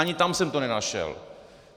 Ani tam jsem to nenašel.